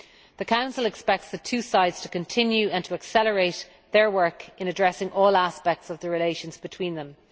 The Council expects the two sides to continue and to accelerate their work in addressing all aspects of the relations between them.